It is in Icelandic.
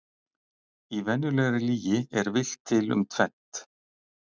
Í venjulegri lygi er villt til um tvennt.